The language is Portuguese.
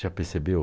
Já percebeu?